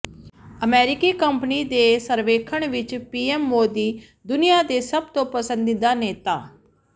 ਅਮਰੀਕੀ ਕੰਪਨੀ ਦੇ ਸਰਵੇਖਣ ਵਿੱਚ ਪੀਐਮ ਮੋਦੀ ਦੁਨੀਆ ਦੇ ਸਭ ਤੋਂ ਪਸੰਦੀਦਾ ਨੇਤਾ